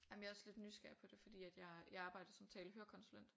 Jamen jeg er også lidt nysgerrig på det fordi at jeg jeg arbejder som tale-hørekonsulent